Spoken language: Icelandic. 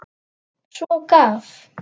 Svo gaf